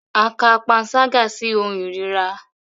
A ka panṣaga si ohun irira